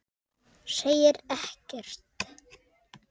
Segir ekkert.